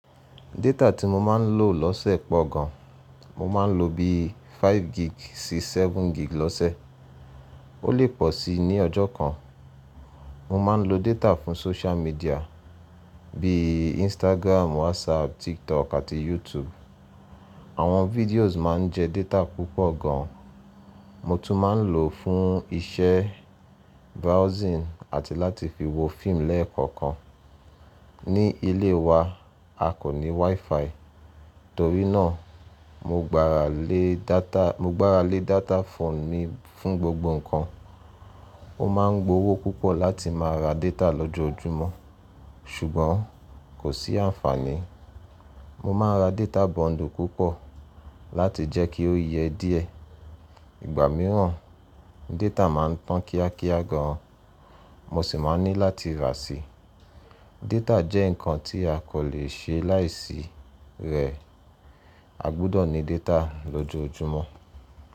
Data tí mo máa ń lò lọ́sẹ̀ pọ gan. Mo máa ń lo bíi 5 gig sí 7 gig lọ́sẹ̀. Ó lè pọ̀ sí ní ọjọ́ kan. Mo máa ń lo data fún social media bíi Instagram, WhatsApp, TikTok àti YouTube. Àwọn videos máa ń jẹ data púpọ̀ gan. Mo tún máa ń lò ó fún iṣẹ́ browsing àti láti fi wo fíìmù lẹ́ẹ̀kọ̀kan. Ní ilé wa, a kò ní WiFi, torí náà mo gbára lé data mo gbára lé data phone mi fún gbogbo nǹkan. Ó máa ń gbówó púpọ̀ láti máa ra data lọ́jọ́júmọ́ ṣùgbọ́n kò sí àǹfààní. Mo máa ń ra data bundle púpọ̀ láti jẹ́ kí ó yẹ díẹ̀. Igba mìíràn, data máa ń tán kíákíá gan, mo sì máa ní láti rà sí. Data jẹ́ nǹkan tí a kò lè ṣe láìsí rẹ̀. A gbọdọ̀ ní data lójoojúmọ́.